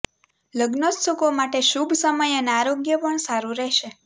લગ્નોત્સુકો માટે શુભ સમય અને આરોગ્ય પણ સારું રહેશે